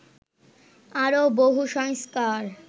আরও বহু সংস্কার